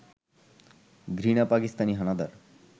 ঘৃণা পাকিস্তানি হানাদার